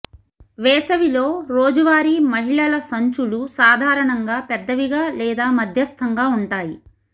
వేసవిలో రోజువారీ మహిళల సంచులు సాధారణంగా పెద్దవిగా లేదా మధ్యస్థంగా ఉంటాయి